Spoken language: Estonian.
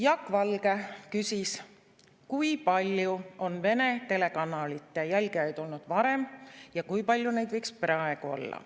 Jaak Valge küsis, kui palju on Vene telekanalite jälgijaid olnud varem ja kui palju neid võiks praegu olla.